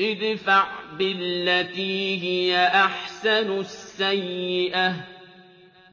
ادْفَعْ بِالَّتِي هِيَ أَحْسَنُ السَّيِّئَةَ ۚ